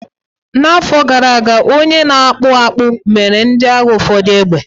N'afọ gara aga, onye na-akpụ akpụ mere ndị agha ụfọdụ égbè